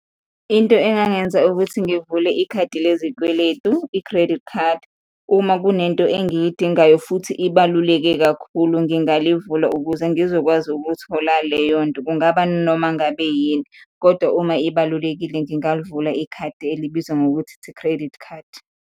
Into engangenza ukuthi ngivule ikhadi lezikweletu, i-credit card, uma kunento engiyidingayo futhi ibaluleke kakhulu, ngingalivula ukuze ngizokwazi ukuthola leyonto, kungaba noma ngabe yini kodwa uma ibalulekile ngingalivula ikhadi elibizwa ngokuthi it's a credit card.